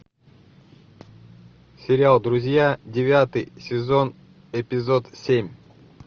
сериал друзья девятый сезон эпизод семь